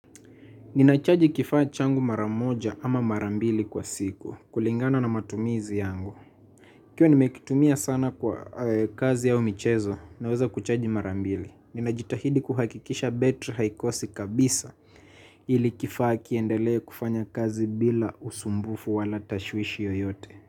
Ninachaji kifaa changu maramoja ama marambili kwa siku. Kulingana na matumizi yangu. Ikiwa nimekitumia sana kwa kazi ya michezo. Naweza kuchaji marambili. Ninajitahidi kuhakikisha betri haikosi kabisa ili kifaa kiendele kufanya kazi bila usumbufu wala tashwishi yoyote.